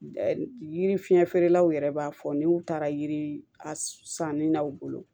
Yiri fiɲɛ feerelaw yɛrɛ b'a fɔ n'u taara yiri a sanni na u bolo